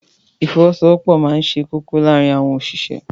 Ìfọwọ́sowọ́pọ̀ máa ṣe kókó láàárín àwọn òṣìṣẹ́.